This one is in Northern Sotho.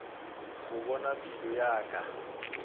go bona pelo ya ka